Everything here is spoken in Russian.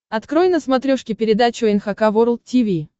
открой на смотрешке передачу эн эйч кей волд ти ви